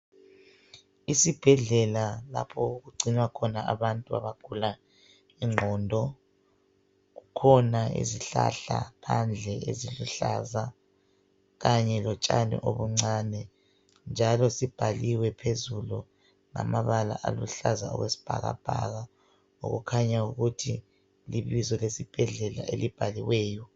Esibhedlela lapho okugcinwa khona abantu abagula ingqondo. Kukhona izihlahla phandle eziluhlaza khanye lotshani obuncane njalo sibhaliwe phezulu ngamabala aluhlaza okwesibhakabhaka okukhanya ukuthi libizo lesibhedlela elibhaliweyo.